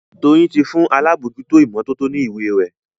Doyin tí fún àlabòjuto imototo ní ìwé rẹ.